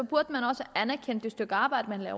burde man også anerkende det stykke arbejde der